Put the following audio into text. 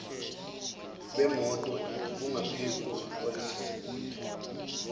bemoto bungaphezulu kwalesosibalo